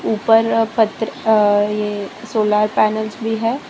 ऊपर पत्र अ ये सोलर पैनल्स भी है।